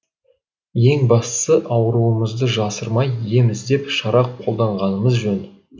ең бастысы ауруымызды жасырмай ем іздеп шара қолданғанымыз жөн